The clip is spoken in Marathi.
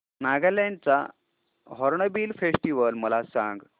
नागालँड चा हॉर्नबिल फेस्टिवल मला सांग